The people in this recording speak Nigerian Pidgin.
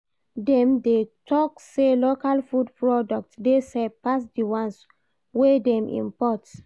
Dem dey tok sey local food products dey safe pass di ones wey dem import.